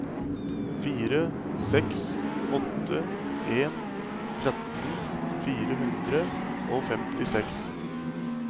fire seks åtte en tretten fire hundre og femtiseks